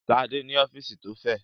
Ṣadé ní ọ́fíísì tó fẹ̀.